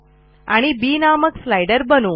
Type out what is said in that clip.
आपण बी नामक स्लाइडर बनवू